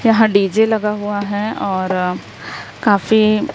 यहां डी_जे लगा हुआ है और अ काफी--